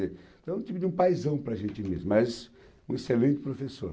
quer dizer. Então, um tipo de um paizão para a gente mesmo, mas um excelente professor.